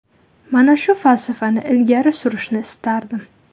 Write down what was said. Mana shu falsafani ilgari surishni istardim.